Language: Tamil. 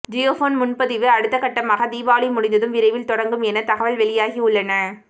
ஜியோபோன் முன்பதிவு அடுத்தக்கட்டமாக தீபாவளி முடிந்ததும் விரைவில் தொடங்கும் என தகவல் வெளியாகியுள்ளன